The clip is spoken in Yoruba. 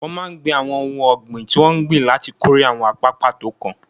Wọ́n máa ń gbìn àwọn ohun ọ̀gbìn tí wọ́n ń gbìn láti kórè àwọn apá pàtó kan